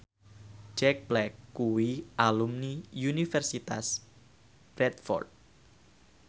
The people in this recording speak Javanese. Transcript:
Jack Black kuwi alumni Universitas Bradford